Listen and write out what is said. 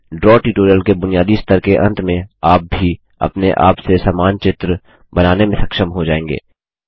draw tutorial के बुनियादी स्तर के अंत में आप भी अपने आप से समान चित्र बनाने में सक्षम हो जायेंगे